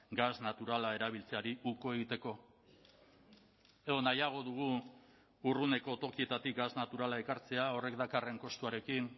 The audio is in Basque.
gas naturala erabiltzeari uko egiteko edo nahiago dugu urruneko tokietatik gas naturala ekartzea horrek dakarren kostuarekin